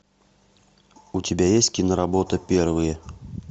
у тебя есть киноработа первые